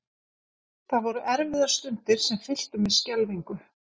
Það voru erfiðar stundir sem fylltu mig skelfingu.